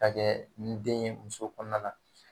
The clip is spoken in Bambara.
Ka kɛ ni den ye muso kɔnɔna la.